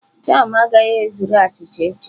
Jam agaghị ezuru achịcha echi.